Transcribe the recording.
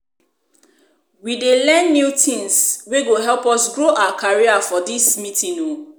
We dey learn new tins wey go help us grow our career for dis meeting o